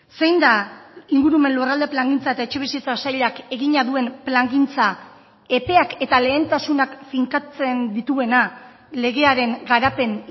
zein da ingurumen lurralde plangintza eta etxebizitza sailak egina duen plangintza epeak eta lehentasunak finkatzen dituena legearen garapen